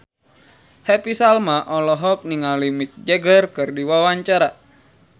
Happy Salma olohok ningali Mick Jagger keur diwawancara